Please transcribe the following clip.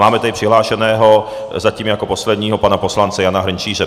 Máme tady přihlášeného, zatím jako posledního, pana poslance Jana Hrnčíře.